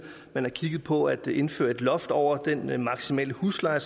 har kigget på at indføre et loft over den maksimale husleje